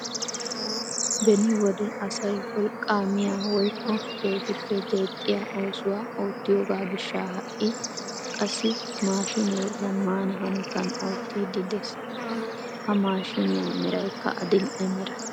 Beni wode asay wolqqaa miyaa woykko keehippe deexxiyaa oosuwaa oottiyoogaa gishshaa ha'i qassi maashinee zammaana hanotaan ottiidi de'ees. Ha maashiniyaa merakka adil"e mera.